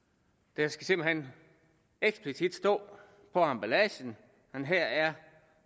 der skal simpelt hen eksplicit stå på emballagen at her er